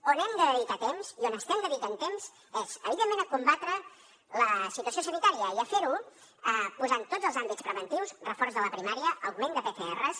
on hem de dedicar temps i on estem dedicant temps és evidentment a combatre la situació sanitària i a fer ho posant tots els àmbits preventius reforç de la primària augment de pcrs